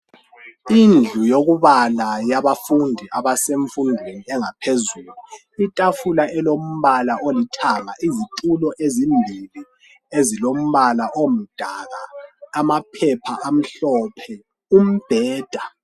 Indlu yokubala yabafundi abasemfundweni engaphezulu itafula elombala olithanga, izitulo ezimbili ezilombala omdaka, amaphepha amhlophe, umbheda